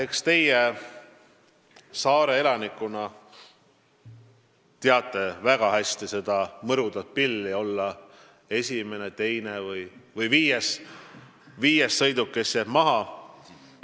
Eks teie saare elanikuna teate väga hästi seda mõru pilli, mis tähendab olla esimene, teine või viies sõiduk, kes jääb maha.